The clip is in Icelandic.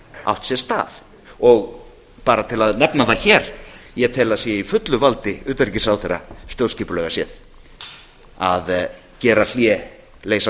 átt sér stað og bara til að nefna það hér ég tel að það sé í fullu valdi utanríkisráðherra stjórnskipulega séð að gera hlé leysa